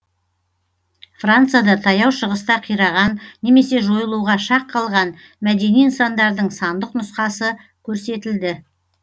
францияда таяу шығыста қираған немесе жойылуға шақ қалған мәдени нысандардың сандық нұсқасы көрсетілді